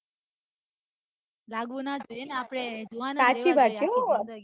લાગવું ન જોઈએ આપડે